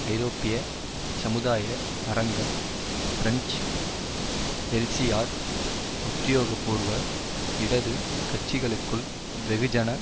ஐரோப்பிய சமுதாய அரங்கம் பிரெஞ்சு எல்சிஆர் உத்தியோகபூர்வ இடது கட்சிகளுக்குள் வெகுஜன